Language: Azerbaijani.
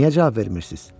Niyə cavab vermirsiz?